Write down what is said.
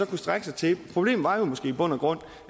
kunne strække sig til problemet var jo måske i bund og grund